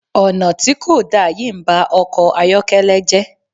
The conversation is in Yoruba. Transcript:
Ọ̀nà tí kò da yìí ń ba ọkọ̀ ayọ́kẹ́lẹ́ jẹ́.